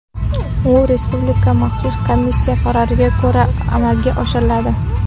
U Respublika maxsus komissiyasi qaroriga ko‘ra amalga oshiriladi .